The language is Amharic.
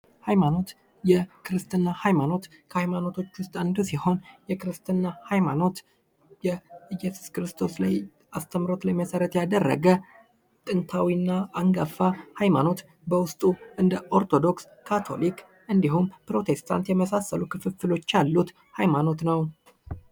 ሃይማኖት የክርስትና ሃይማኖት ከሃይማኖቶች ውስጥ አንዱ ሲሆን የክርስትና ሃይማኖት የኢየሱስ ክርስቶስ ላይ አስተምሮት ላይ መሰረት ያደረገ ጥንታዊና አንጋፋ ሀይማኖት በውስጡ እንደ ኦርቶዶክስ ካቶሊክ እንዲሁም ፕሮቴስታንት የመሳሰሉ ክፍሎች ያሉት ሃይማኖት ነው ።